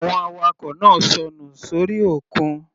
Àwọn awakọ̀ náà sọnù sórí òkun.